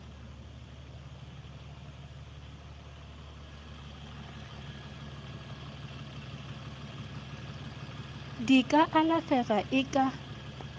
di ka alafega e ka